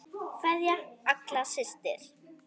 Kveðja, Agla systir.